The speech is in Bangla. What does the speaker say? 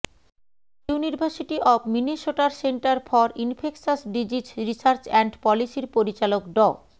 ইউনিভার্সিটি অব মিনেসোটার centre for infectious disease research and পলিসির পরিচালক ড